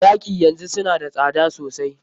Taki yanzu suna da tsada sosai.